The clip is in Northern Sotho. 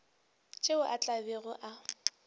tšeo a tla bego a